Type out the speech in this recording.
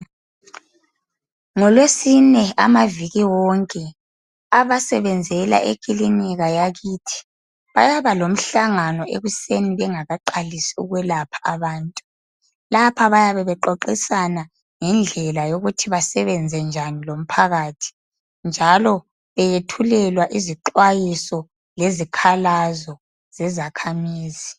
NgolweSine, amaviki wonke. Abasebenzela ekilinika yakithi. Bayaba lomhlangano, ekuseni, bengakaqalisi ukwelapha abantu. Lapha bayabe bexoxisana ngendlela yokuthi basebenze njani lomphakathi, njalo beyethulelwa izixwayiso lezikhalazo zezakhamizi.